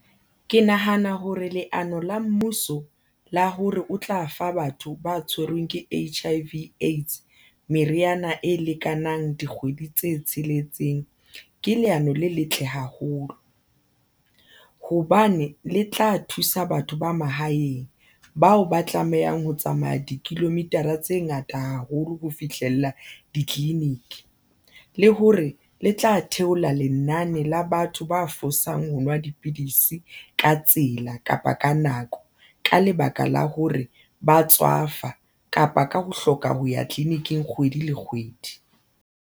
Ke nahana hore leano la mmuso la hore o tla fa batho ba tshwerweng ke H_I_V A_I_D_S meriana e lekanang dikgwedi tse tsheletseng ke leano le letle haholo, hobane le tla thusa batho ba mahaeng bao ba tlamehang ho tsamaya di-kilometer-a tse ngata haholo ho fihlella ditleliniki, le hore le tla theola lenane la batho ba fosang ho nwa dipidisi ka tsela kapa ka nako ka lebaka la hore ba tswafa kapa ka ho hloka ho ya tleliniking kgwedi le kgwedi.